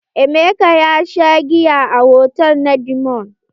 Emeka ya sha giya a hotal na diamond.